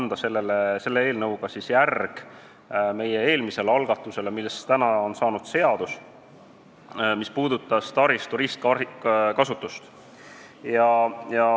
Tahame sellega anda järje meie eelmisele algatusele, millest on saanud seadus ja mis puudutab taristu ristkasutust.